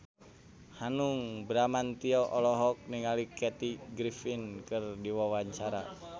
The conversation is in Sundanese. Hanung Bramantyo olohok ningali Kathy Griffin keur diwawancara